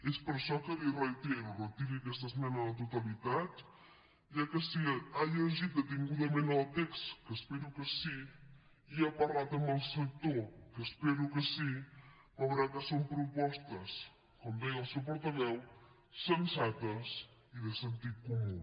és per això que li reitero retiri aquesta esmena a la totalitat ja que si ha llegit detingudament el text que espero que sí i ha parlat amb el sector que espero que sí veurà que són propostes com deia el seu portaveu sensates i de sentit comú